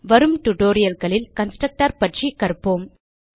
வரும் tutorialகளில் கன்ஸ்ட்ரக்டர் பற்றி கற்போம்